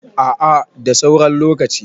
a a da sauran lokaci